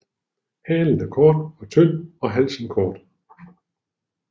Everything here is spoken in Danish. Halen er kort og tynd og halsen kort